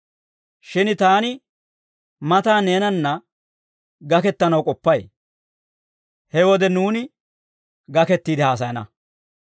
Shin taani matan neenanna gakkettanaw k'oppay; he wode nuuni gakettiide haasayana.